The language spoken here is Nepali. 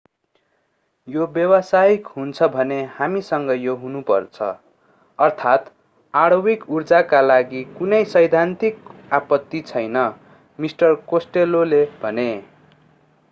यो व्यावसायिक हुन्छ भने हामीसँग यो हुनुपर्छ अर्थात् आणविक ऊर्जाका लागि कुनै सैद्धान्तिक आपत्ति छैन मिस्टर कोस्टेल्लोले भने